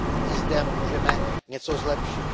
I zde můžeme něco zlepšit.